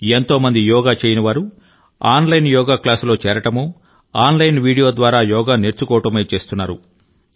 ఎంతో మంది యోగా చేయని వారు ఆన్లైన్ యోగా క్లాస్లో చేరడమో ఆన్లైన్ వీడియో ద్వారా యోగా నేర్చుకోవడమో చేస్తున్నారు